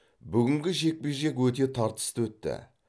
бүгінгі жекпе жек өте тартысты өтті